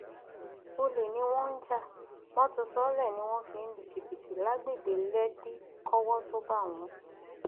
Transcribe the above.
olè ni wọn já mọtò sóólé ni wọn fi ń lu jìbìtì lágbègbè lèkì kọwọ tóo bá wọn